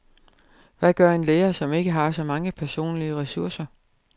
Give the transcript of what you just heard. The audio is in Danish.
Hvad gør en lærer, som ikke har så mange personlige ressourcer.